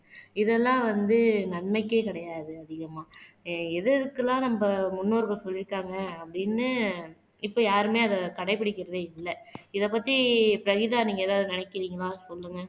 இதெல்லாம் வந்து நன்மைக்கே கிடையாது அதிகமா எது எதுக்கெல்லாம் நம்ம முன்னோர்கள் சொல்லிருக்காங்க அப்படின்னு இப்ப யாருமே அத கடைபிடிக்கிறதே இல்ல. இத பத்தி பிரகிதா நீங்க எதாவது நினைக்கிறீங்களா சொல்லுங்க